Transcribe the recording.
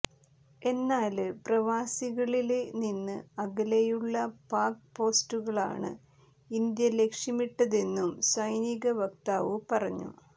എന്നാല് പ്രദേശവാസികളില് നിന്ന് അകലെയുള്ള പാക് പോസ്റ്റുകളാണ് ഇന്ത്യ ലക്ഷ്യമിട്ടതെന്നും സൈനിക വക്താവ് പറഞ്ഞു